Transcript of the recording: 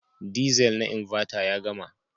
Diesel na Inverter ya gama.